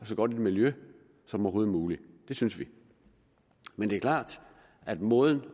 så godt miljø som overhovedet muligt det synes vi men det er klart at måden